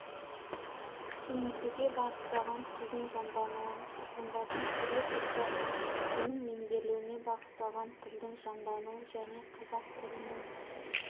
кеңейтуге бағытталған тілдің жаңдануын тұрғындардың түрлі топтарымен оның меңгерілуіне бағытталған тілдің жандануын және қазақ тілінің